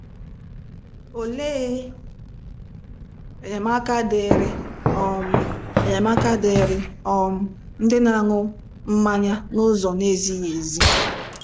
Olee enyemaka dịịrị um enyemaka dịịrị um ndị na-aṅụ mmanya n'ụzọ na-ezighị ezi?